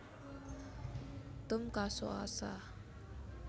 Tum kaso aasaa